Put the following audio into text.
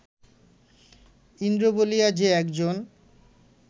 ইন্দ্র বলিয়া যে একজন